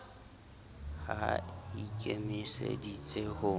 ha e i kemiseditse ho